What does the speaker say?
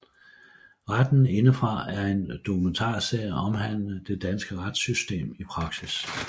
Retten indefra er en dokumentarserie omhandlende det danske retsystem i praksis